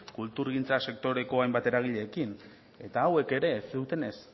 kulturgintza sektoreko hainbat eragileekin eta hauek ere ez zutenez